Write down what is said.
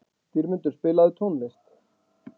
Dýrmundur, spilaðu tónlist.